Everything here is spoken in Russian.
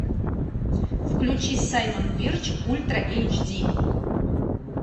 включи саймон бирч ультра эйч ди